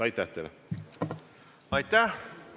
Aitäh!